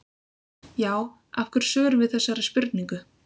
Já, af hverju svörum við þessari spurningu?